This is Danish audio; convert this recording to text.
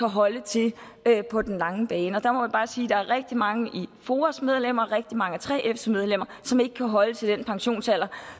holde til på den lange bane og der må man bare sige at der er rigtig mange af foas medlemmer og rigtig mange af 3fs medlemmer som ikke kan holde til den pensionsalder